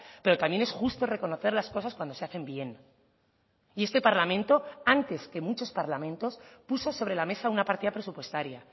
pero también es justo reconocer las cosas cuando se hacen bien y este parlamento antes que muchos parlamentos puso sobre la mesa una partida presupuestaria